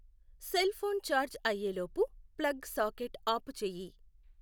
cell phone charge అయ్యేలోపు plug socket ఆపు చేయి